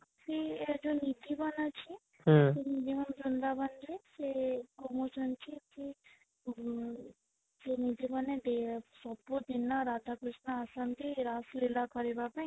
ସେ ଏଇ ଯୋଉ ନିଧିବନ ଅଛି ସେ ନିଧିବନ ବୃନ୍ଦାବନ ରେ ସେ ଏ କହୁଛନ୍ତି କି ଉ କୁଞ୍ଜବନ ସେ ସବୁଦିନ ରାଧା କୃଷ୍ଣ ଆସନ୍ତି ରାସଲୀଳା କରିବା ପାଇଁ